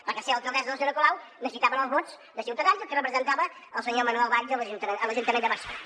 perquè per ser alcaldessa la senyora colau necessitaven els vots de ciutadans i el que representava el senyor manuel valls a l’ajuntament de barcelona